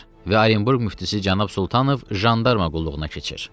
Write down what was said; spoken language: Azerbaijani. Və Orenburq müftisi cənab Sultanov jandarma qulluğuna keçir.